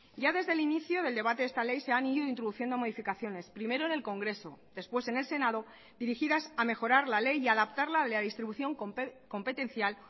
ya desde el inicio del debate de esta ley se han ido introduciendo modificaciones primero en el congreso después en el senado dirigidas a mejorar la ley y adaptarla a la distribución competencial